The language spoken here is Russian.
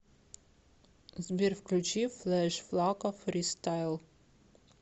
сбер включи флэш флако фристайл